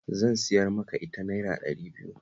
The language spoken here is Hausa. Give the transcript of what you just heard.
Zan siyar maka ita Naira ɗari biyu